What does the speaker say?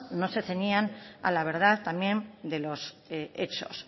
no se ceñían a la verdad también de los hechos